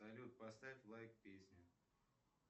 салют поставь лайк песне